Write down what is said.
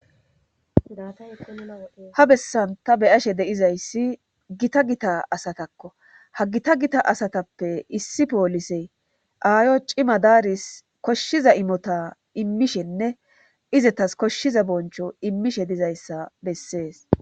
Dataha bessan ta beyashe deizayssi gita gita asatakko ha gita gita asatappe issi poolisey aayo cima daaris koshshiza imota immishenne izetas koshshiza boncho immishe dizayssa bessees.